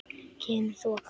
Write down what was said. Kemur þoka.